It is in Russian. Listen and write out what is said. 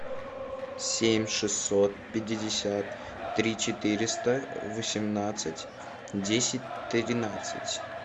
семь шестьсот пятьдесят три четыреста восемнадцать десять тринадцать